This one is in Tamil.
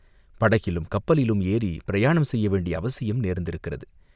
படகிலும், கப்பலிலும் ஏறிப் பிரயாணம் செய்ய வேண்டிய அவசியம் நேர்ந்திருக்கிறது.